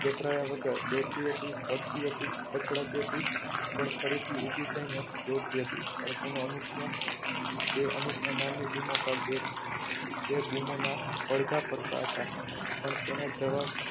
ગભરાયા વગર દોડતી હતી પડતી હતી પછડાતી હતી પણ ફરીથી ઊભી થઈને દોડતી હતી પણ તેનો અનુપ ત્યાં તે અનુપ ના નામની બૂમો પાડતી હતી તે બૂમોના પડઘા પડતા હતા પણ તેને જવા